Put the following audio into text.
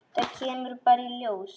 Það kemur bara í ljós.